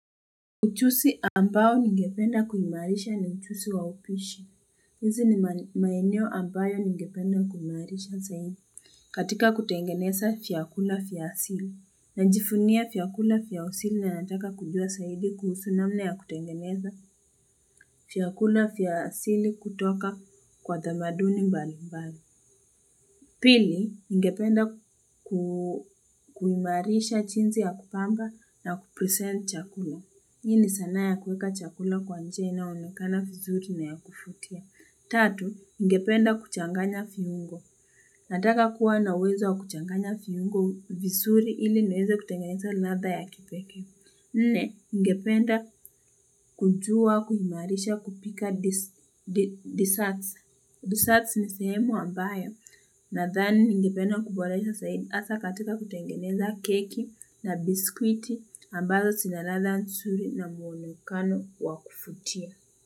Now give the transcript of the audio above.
Ujuzi ambao ningependa kuimarisha ni ujuzi wa upishi. Hizi ni maenio ambayo ningependa kuimarisha zaidi. Katika kutengeneza vyakula vya asili Najivunia vyakula vya asili na nataka kujua zaidi kuhusu namna ya kutengeneza vyakula vya asili kutoka kwa tamaduni mbali mbali. Pili ningependa kuimarisha jinsi ya kupanga na kupresent chakula. Hii ni sana ya kweka chakula kwa njia inaonekana vizuri na ya kuvutia. Tatu, nigependa kuchanganya viungo. Nataka kuwa nauweza wa kuchanganya viungo vizuri ili niweze kutengeneza ladha ya kipekee Nne, ngependa kujua, kuhimarisha, kupika desserts. Desserts ni sehemu ambayo. Na thani ni ngependa kuboresha zaidi asa katika kutengeneza keki na biskwiti ambazo sina ladha nzuri na muonekano wa kuvutia.